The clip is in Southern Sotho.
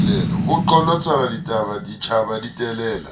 ho qholotsanwa ditjhaba di telela